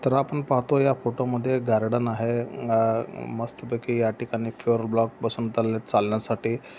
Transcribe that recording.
तर आपण पाहतो या फोटो मध्ये गार्डन आहे. हा या मस्तपैकी या ठिकाणी फ्लोर ब्लॉक चालण्यासाठी.